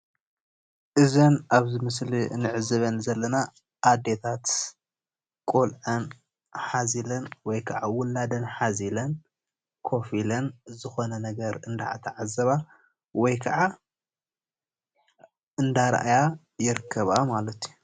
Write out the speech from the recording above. እዘን ኣብ ምስሊ እንዕዘበን ዘለና ኤታት ቆልዑአን ሓዚለን ወይ ከዓ ውላደን ሓዚለን ከፍ ኢለን ዝኮነ ነገር እንዳተዓዘባ ወይ ከዓ እንዳረኣያ ይርከባ ማለት እዩ፡፡